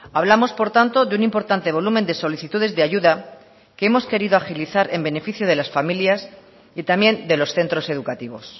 hablamos por tanto de un importante volumen de solicitudes de ayuda que hemos querido agilizar en beneficio de las familias y también de los centros educativos